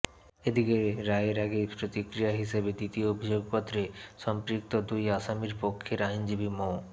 এদিকে রায়ের আগের প্রতিক্রিয়া হিসেবে দ্বিতীয় অভিযোগপত্রে সম্পৃক্ত দুই আসামীর পক্ষের আইনজীবী মো